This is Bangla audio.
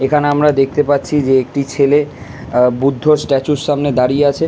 এখানে আমরা দেখতে পাচ্ছি যে একটি ছেলে আ বুদ্ধর স্ট্যাচু -র সামনে দাঁড়িয়ে আছে।